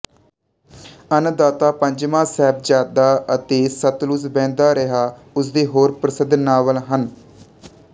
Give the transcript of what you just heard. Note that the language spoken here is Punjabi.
ਅੰਨ ਦਾਤਾ ਪੰਜਵਾਂ ਸਾਹਿਬਜ਼ਾਦਾ ਅਤੇ ਸਤਲੁਜ ਵਹਿੰਦਾ ਰਿਹਾ ਉਸਦੇ ਹੋਰ ਪ੍ਰਸਿੱਧ ਨਾਵਲ ਹਨ